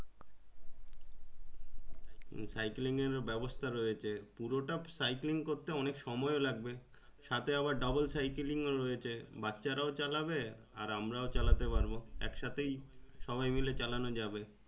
cycling এর ব্যাবস্থা রয়েছে পুরো তা cycling করতে অনেক সময়ে ও লাগবে সাথে আবার double-cycling ও রয়েছে বাচ্চারাও চালাবে আর আমরাও চালাতে পারবো একসাথেই সবাই মিলেই চালানো যাবে।